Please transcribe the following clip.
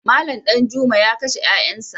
Malam Danjuma ya kashe ‘ƴa’ƴansa.